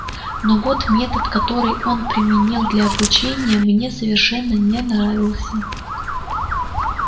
но вот метод который он применил для обучения мне совершенно не нравился